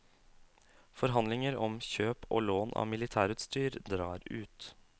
Forhandlinger om kjøp og lån av militærutstyr drar ut.